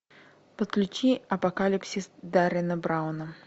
подключи апокалипсис деррена брауна